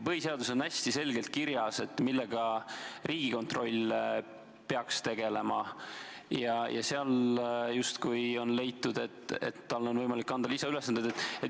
Põhiseaduses on küll hästi selgelt kirjas, millega Riigikontroll peaks tegelema, aga seal justkui on leitud, et talle on võimalik anda lisaülesandeid.